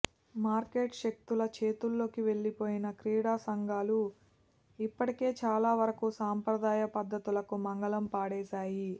market శక్తుల చేతుల్లోకి వెళ్లిపోయిన క్రీడా సంఘాలు ఇప్పటికే చాలా వరకు సంప్రదాయ పద్దతులకు మంగళం పాడేశాయి